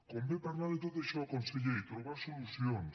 convé parlar de tot això conseller i trobar solucions